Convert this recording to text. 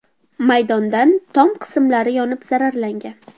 maydondan tom qismlari yonib zararlangan.